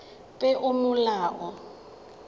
peomolao